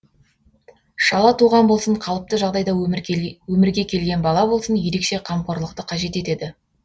шала туған болсын қалыпты жағдайда өмірге келген бала болсын ерекше қамқорлықты қажет етеді